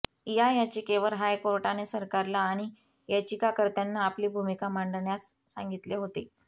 या याचिकेवर हायकोर्टाने सरकारला आणि याचिकाकर्त्यांना आपली भूमिका मांडण्यास सांगितले होते